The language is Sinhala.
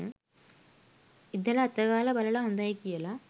ඉදල අතගාල බලල හොඳයි කියල